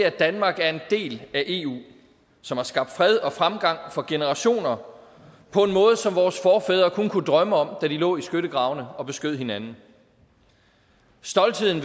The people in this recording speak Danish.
at danmark er en del af eu som har skabt fred og fremgang for generationer på en måde som vores forfædre kun kunne drømme om da de lå i skyttegravene og beskød hinanden stoltheden